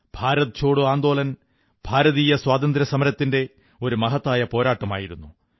ഭാരത് ഛോഡോ ആന്ദോളൻ ഭാരതീയ സ്വാതന്ത്ര്യസമരത്തിന്റെ ഒരു മഹത്തായ പോരാട്ടമായിരുന്നു